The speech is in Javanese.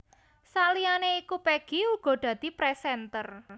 Saliyané iku Peggy uga dadi présènter